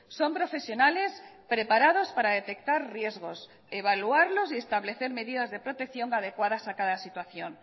son profesionales preparados para detectar riesgos evaluarlos y establecer medidas de protección adecuadas a cada situación